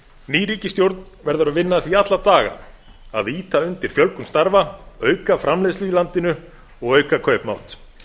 ný ríkisstjórn verður að vinna að því alla daga að ýta undir fjölgun starfa auka framleiðslu í landinu og auka kaupmátt